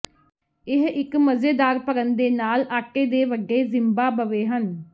ਇਹ ਇੱਕ ਮਜ਼ੇਦਾਰ ਭਰਨ ਦੇ ਨਾਲ ਆਟੇ ਦੇ ਵੱਡੇ ਜ਼ਿਮਬਾਬਵੇ ਹਨ